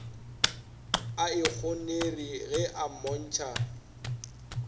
a ikgonere ge a mmontšha